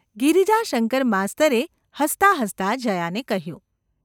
’ ગિરિજાશંકર માસ્તરે હસતાં હસતાં જયાને કહ્યું.